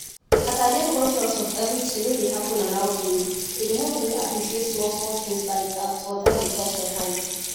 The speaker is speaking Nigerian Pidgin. as i dey conscious of everything wey dey around me e dey help me appreciate small small things like as water dey touch my hand